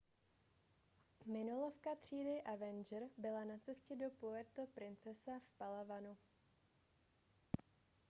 minolovka třídy avenger byla na cestě do puerto princesa v palawanu